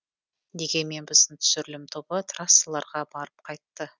дегенмен біздің түсірілім тобы трассаларға барып қайтты